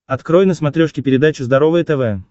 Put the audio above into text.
открой на смотрешке передачу здоровое тв